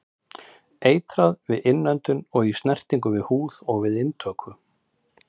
Eitrað við innöndun, í snertingu við húð og við inntöku.